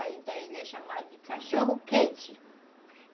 Aí, então, ele é chamado de cachorro - quente.